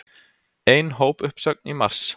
Ein hópuppsögn í mars